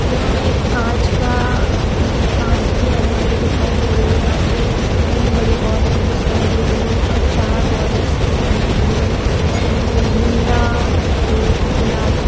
यह एक कांच का उम कांच की अलमारी दिखाई दे रही है जहाँ पे तीन बड़ी बोतल दिखाई दे रही है ऊपर चार बॉटल्स रखी हुई हैं बड़ी-बड़ी जिनमें नीला सफ़ेद गुलाबी --